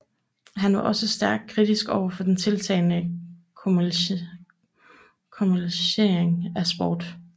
Han var også stærkt kritisk over den tiltagende kommercialisering af sport